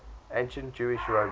ancient jewish roman